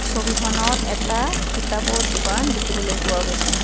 ছবিখনত এটা কিতাপৰ দোকান দেখিবলৈ পোৱা গৈছে।